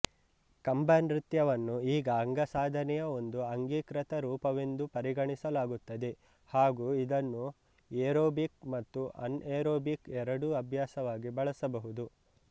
ಕಂಬನೃತ್ಯವನ್ನು ಈಗ ಅಂಗಸಾಧನೆಯ ಒಂದು ಅಂಗೀಕೃತ ರೂಪವೆಂದು ಪರಿಗಣಿಸಲಾಗುತ್ತದೆ ಹಾಗೂ ಇದನ್ನು ಏರೋಬಿಕ್ ಮತ್ತು ಆನ್ಏರೋಬಿಕ್ ಎರಡೂ ಅಭ್ಯಾಸವಾಗಿ ಬಳಸಬಹುದು